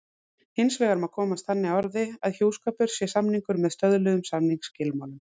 Hins vegar má komast þannig að orði að hjúskapur sé samningur með stöðluðum samningsskilmálum.